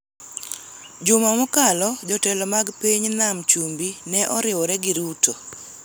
Juma mokalo, jotelo mag piny Nam Chumbi ne oriwore gi Ruto,